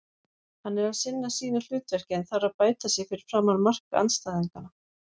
Hann er að sinna sínu hlutverki en þarf að bæta sig fyrir framan mark andstæðinganna.